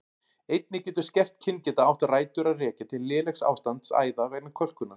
Einnig getur skert kyngeta átt rætur að rekja til lélegs ástands æða vegna kölkunar.